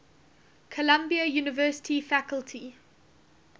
columbia university faculty